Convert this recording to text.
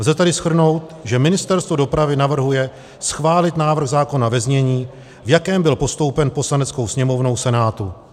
Lze tedy shrnout, že Ministerstvo dopravy navrhuje schválit návrh zákona ve znění, v jakém byl postoupen Poslaneckou sněmovnou Senátu.